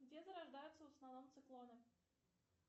где зарождаются в основном циклоны